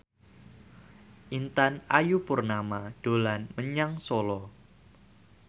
Intan Ayu Purnama dolan menyang Solo